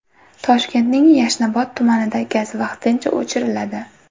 Toshkentning Yashnobod tumanida gaz vaqtincha o‘chiriladi.